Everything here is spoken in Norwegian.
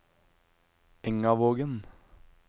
Engavågen